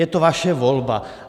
Je to vaše volba.